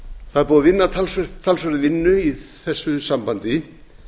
það er búið að vinna talsverða vinnu í þessu sambandi